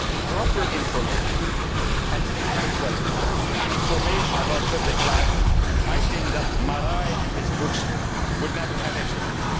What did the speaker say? proper information and adequate information about public life, I think Márai and his books would never have existed.